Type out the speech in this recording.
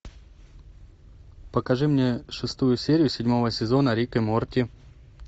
покажи мне шестую серию седьмого сезона рик и морти